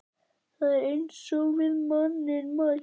Það er eins og við manninn mælt.